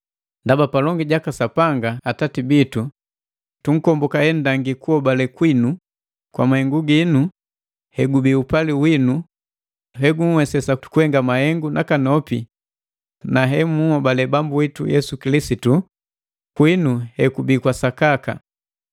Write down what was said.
Ndaba palongi jaka Sapanga Atati bitu tunkomboka henndangi kuhobale kwinu kwa mahengu gino, hegubi upali winu hegunhwesesa kuhenga mahengu nakanopi, na hemunhobale Bambu witu Yesu Kilisitu kwinu hekubii kwa sakaka.